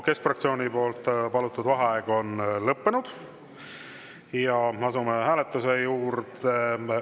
Keskfraktsiooni palutud vaheaeg on lõppenud ja me asume hääletuse juurde.